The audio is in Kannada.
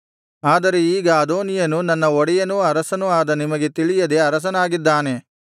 ಆದರೆ ಈಗ ಅದೋನೀಯನು ನನ್ನ ಒಡೆಯನೂ ಅರಸನೂ ಆದ ನಿಮಗೆ ತಿಳಿಯದೇ ಅರಸನಾಗಿದ್ದಾನೆ